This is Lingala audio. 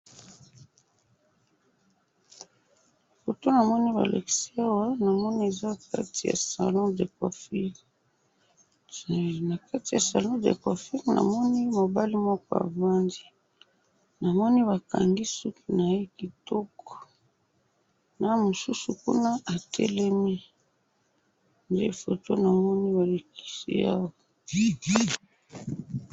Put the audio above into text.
Foto namoni balakisi awa, namoni eza kati ya salon de coiffure, nakati ya salon de coiffure namoni mobali moko avandi, namoni bakangi suki naye kitoko, na mususu kuna atelemi, nde foto namoni balakisi awa.